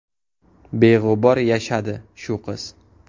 Beg‘ubor yashadi shu qiz.